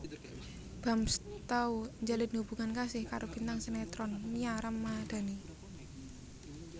Bams tau njalin hubungan kasih karo bintang sinetron Nia Ramandhani